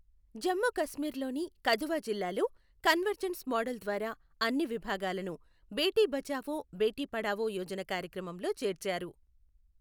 జమ్ము కశ్మీర్ లోని కధువా జిల్లాలో convergence model ద్వారా అన్ని విభాగాలనూ బేటీ బచావో బేటీ పఢావో యోజన కార్యక్రమంలో చేర్చారు.